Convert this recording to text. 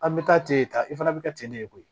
An bɛ taa ten ta i fana bɛ kɛ ten ne ye koyi